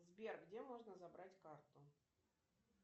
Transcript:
сбер где можно забрать карту